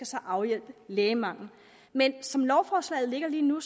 skal afhjælpe lægemangelen men som lovforslaget ligger lige nu